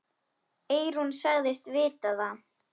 Eyrún sagðist vita það.